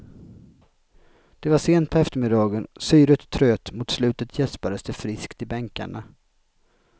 Det var sent på eftermiddagen, syret tröt och mot slutet gäspades det friskt i bänkarna.